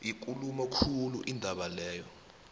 yikulu khulu indawo le